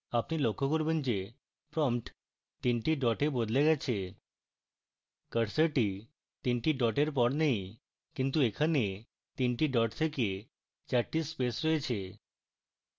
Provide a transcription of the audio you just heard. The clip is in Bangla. আপনি লক্ষ্য করবেন যে prompt তিনটি ডটে বদলে গেছে